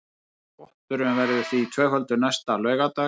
Potturinn verður því tvöfaldur næsta laugardag